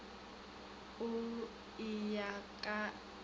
o e ya e ka